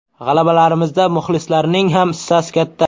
G‘alabalarimizda muxlislarning ham hissasi katta”.